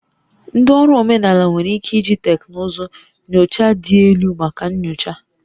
Ndị ọrụ omenala nwere ike iji teknụzụ nyocha dị elu maka nyocha